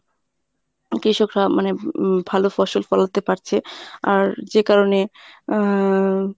কৃষকরা মানে উম মানে ভালো ফসল ফলাতে পারছে আর যে কারণে আহ